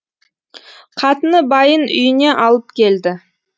қатыны байын үйіне алып келді